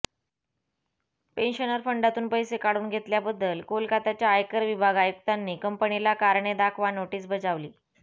pensioner फंडातून पैसे काढून घेतल्याबद्दल कोलकाताच्या आयकर विभाग आयुक्तांनी कंपनीला कारणे दाखवा नोटीस बजावली